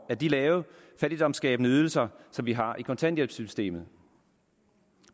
af de lave fattigdomsskabende ydelser som vi har i kontanthjælpssystemet